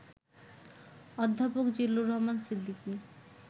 অধ্যাপক জিল্লুর রহমান সিদ্দিকী